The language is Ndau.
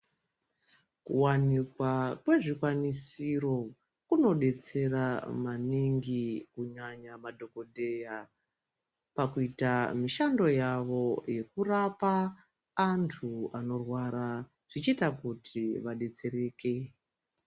Kuwanikwa kwezvikwanisiro kunodetsera maningi kunyanya maningi madhogodheya pakuita mishando yavo yekurapa antu anorwara zvichiita kuti vadetsereke.